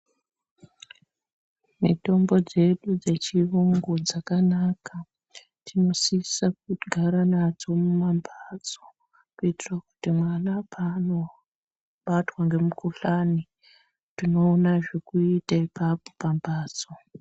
Mitombo dzedu dzechirungu dzakanaka, tinosisa kugara nadzo mumambatso kuitira kuti mwana paanobatwa nemukhuhlani tinoona zvekuita ipapo pambatso.